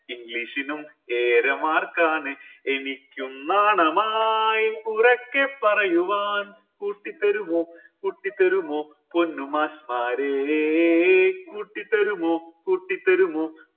english നും ഏഴര mark ആണ് എനിക്കും നാണമായി ഉറക്കെ പറയുവാൻ കൂട്ടി തരുമോ കൂട്ടിത്തരുമോ പൊന്ന് മാഷ്മാരെ കൂട്ടി തരുമോ കൂട്ടിത്തരുമോ